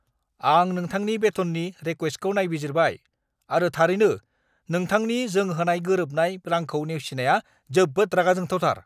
आं नोंथांनि बेथननि रिक्वेस्टखौ नायबिजिरबाय, आरो थारैनो, नोंथांनि जों होनाय गोरोबनाय रांखौ नेवसिनाया जोबोद रागा जोंथावथार!